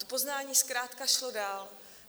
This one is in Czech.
To poznání zkrátka šlo dál.